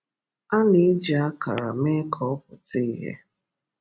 A na-eji akara mee ka ọ pụta ìhè.